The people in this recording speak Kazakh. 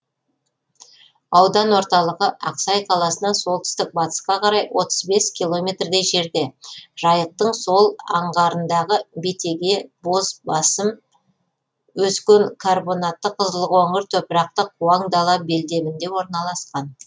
аудан орталығы ақсай қаласынан солтүстік батысқа қарай отыз бес километрдей жерде жайықтың сол аңғарындағы бетеге боз басым ескен карбонатты қызылқоңыр топырақты қуаң дала белдемінде орналасқан